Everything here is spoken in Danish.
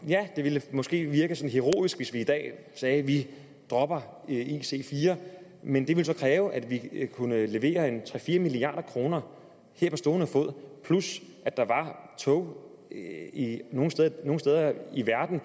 ja det ville måske virke sådan heroisk hvis vi i dag sagde at vi dropper ic4 men det ville så kræve at vi kunne levere tre fire milliard kroner her på stående fod plus at der var tog nogle steder i verden